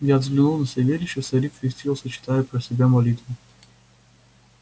я взглянул на савельича старик крестился читая про себя молитву